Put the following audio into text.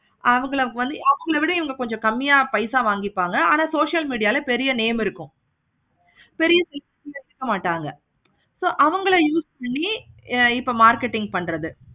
அவங்கள அவங்கள விட இவங்க கொஞ்சம் கம்மியா பைசா வாங்கிப்பாங்க ஆனா social media ல பெரிய name இருக்கும். செரின்னு எடுத்துக்க மாட்டாங்க. so அவங்கள use பண்ணி இப்ப marketing பண்றது